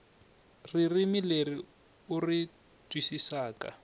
ririmi leri u ri twisisaka